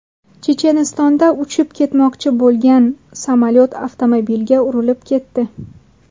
Chechenistonda uchib ketmoqchi bo‘lgan samolyot avtomobilga urilib ketdi.